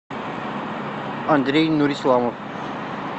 андрей нурисламов